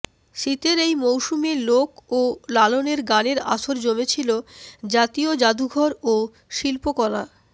শীতের এই মৌসুমে লোক ও লালনের গানের আসর জমেছিল জাতীয় জাদুঘর ও শিল্পকলা